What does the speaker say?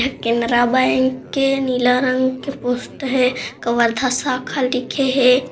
Canara bank के नीला रंग के पोस्ट हे कवर्धा शाखा लिखे हे ।